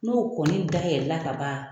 N'o kɔni dayɛlɛ la ka ban